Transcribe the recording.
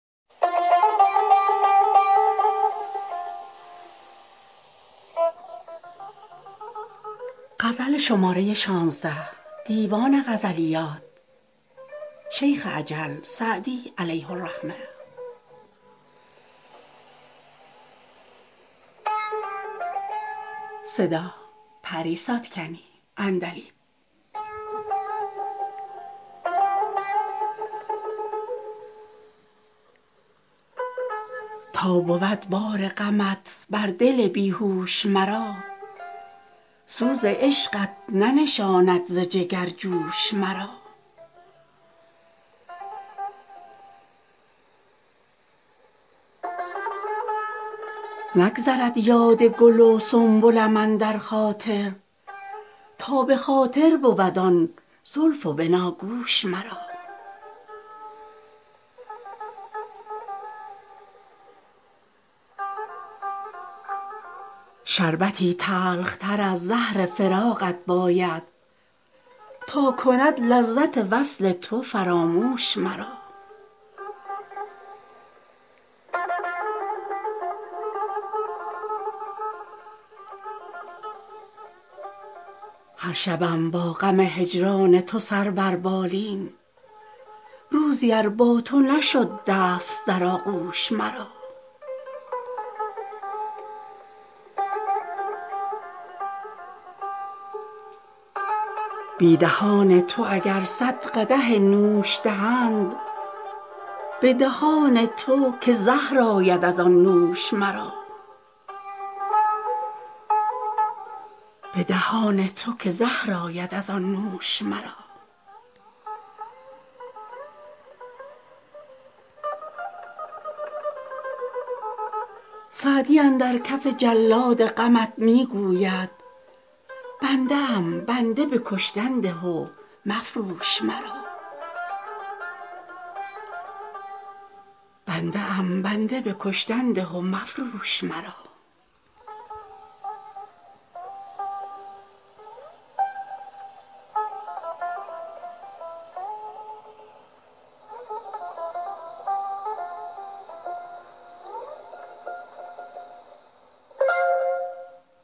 تا بود بار غمت بر دل بی هوش مرا سوز عشقت ننشاند ز جگر جوش مرا نگذرد یاد گل و سنبلم اندر خاطر تا به خاطر بود آن زلف و بناگوش مرا شربتی تلختر از زهر فراقت باید تا کند لذت وصل تو فراموش مرا هر شبم با غم هجران تو سر بر بالین روزی ار با تو نشد دست در آغوش مرا بی دهان تو اگر صد قدح نوش دهند به دهان تو که زهر آید از آن نوش مرا سعدی اندر کف جلاد غمت می گوید بنده ام بنده به کشتن ده و مفروش مرا